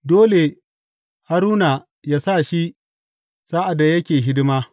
Dole Haruna yă sa shi sa’ad da yake hidima.